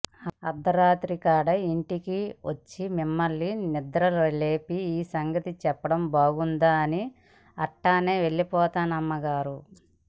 అర్ధరాత్రి కాడ ఇంటికొచ్చి మిమ్మల్ని నిదర్లేపి ఈ సంగతి సెప్పడం బాగుండదని అట్టనే ఎల్లిపోయానమ్మగారు